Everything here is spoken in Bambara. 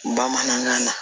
Bamanankan na